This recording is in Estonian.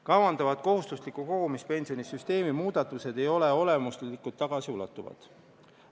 Kavandatavad kohustusliku kogumispensioni süsteemi muudatused ei ole olemuslikult tagasiulatuvad.